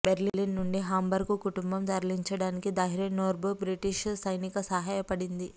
Berlin నుండి Hamburg కుటుంబం తరలించడానికి దాహ్రెన్దొర్ఫ్ బ్రిటిష్ సైనిక సహాయపడింది